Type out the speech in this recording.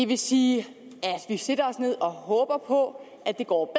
vil sige at vi sætter os ned og håber på at det går